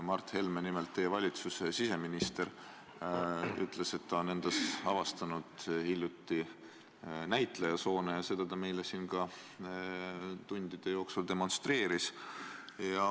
Mart Helme, teie valitsuse siseminister, ütles, et ta on endas hiljuti avastanud näitlejasoone, ja seda ta meile siin tundide jooksul demonstreeris.